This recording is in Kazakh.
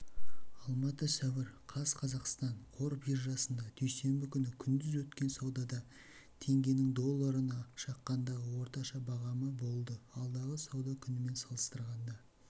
алматы сәуір қаз қазақстан қор биржасында дүйсенбі күні күндіз өткен саудада теңгенің долларына шаққандағы орташа бағамы болды алдыңғы сауда күнімен салыстырғанда